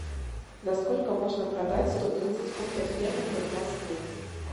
за сколько можно продать сто тридцать фунтов стерлингов в москве